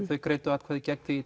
greiddu atkvæði gegn því